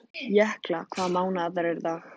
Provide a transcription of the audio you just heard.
Jökla, hvaða mánaðardagur er í dag?